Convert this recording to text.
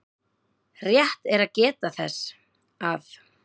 Rétt er að geta þess að